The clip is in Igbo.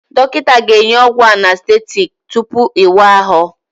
Dọkịta ga-enye ọgwụ anestetiiki tupu ịwa ahụ